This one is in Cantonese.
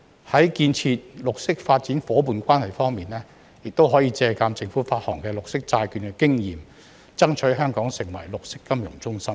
在建設綠色發展夥伴關係方面，可以借鑒政府發行綠色債券的經驗，爭取香港成為綠色金融中心。